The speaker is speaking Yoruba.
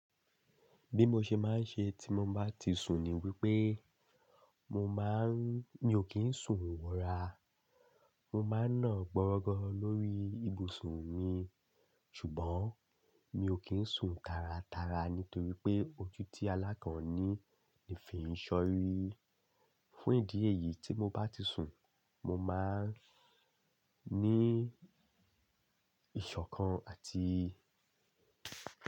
Bí mo ṣe máa ń ṣe tí mo bá ti sun ni wípé, mo máa ń, mi ò kín sun wọra. Mo máa ń ná gbọ́rọ́gọ́ lórí ibùsùn mi, ṣùgbọ́n mi ò kí ń sun taratara nítorí pé ojú tí alá kan ní ni fi ń ṣọrí. Fún ìdí èyí tí mo bá ti sun, mo máa ń ní ìṣọ̀kan àti.